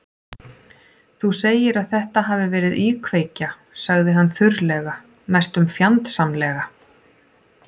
Þú segir að þetta hafi verið íkveikja- sagði hann þurrlega, næstum fjandsamlega.